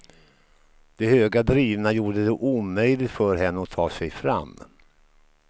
De höga drivorna gjorde det omöjligt för henna att ta sig fram.